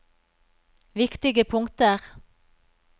viktige punkter